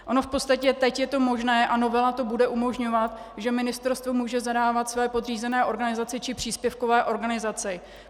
Ono v podstatě teď je to možné a novela to bude umožňovat, že ministerstvo může zadávat své podřízené organizaci či příspěvkové organizaci.